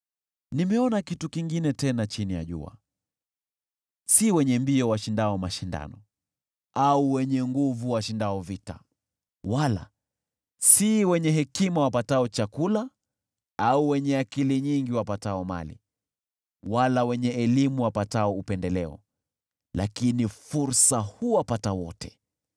Nimeona kitu kingine tena chini ya jua: Si wenye mbio washindao mashindano au wenye nguvu washindao vita, wala si wenye hekima wapatao chakula au wenye akili nyingi wapatao mali, wala wenye elimu wapatao upendeleo, lakini fursa huwapata wote.